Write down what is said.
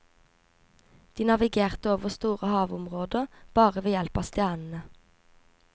De navigerte over store havområder bare ved hjelp av stjernene.